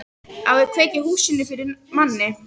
Á að kveikja í húsinu fyrir manni!